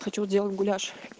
хочу сделать гуляш